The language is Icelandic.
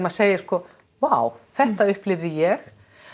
segir sko vá þetta upplifði ég